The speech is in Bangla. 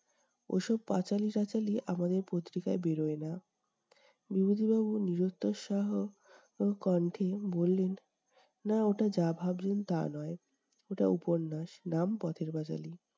ওসব পাঁচালি-টাচালি আমাদের পত্রিকায় বেড়োয় না। বিভূতিবাবু নিরুৎসাহ কণ্ঠে বললেন, না ওটা যা ভাবছেন তা নয়, ওটা উপন্যাস, নাম পথের-পাঁচালি ।